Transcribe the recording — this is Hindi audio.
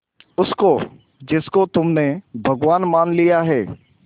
उसको जिसको तुमने भगवान मान लिया है